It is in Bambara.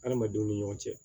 Adamadenw ni ɲɔgɔn cɛ